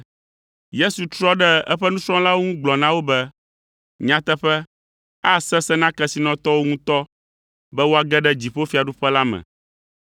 Yesu trɔ ɖe eƒe nusrɔ̃lawo ŋu gblɔ na wo be, “Nyateƒe, asesẽ na kesinɔtɔwo ŋutɔ be woage ɖe dziƒofiaɖuƒe la me.